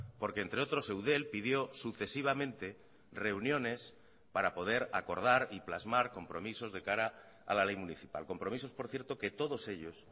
porque entre otros eudel pidió sucesivamente reuniones para poder acordar y plasmar compromisos de cara a la ley municipal compromisos por cierto que todos ellos